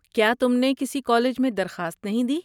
کیا تم نے کسی کالج میں درخواست نہیں دی؟